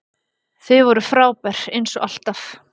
Þið voruð frábær eins og alltaf!